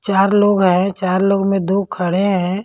चार लोग हैं चार लोग में दो खड़े हैं।